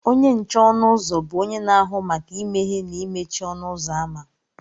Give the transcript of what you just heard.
Onye nche ọnụ ụzọ bụ onye na-ahụ maka imeghe na imechi ọnụ ụzọ ámá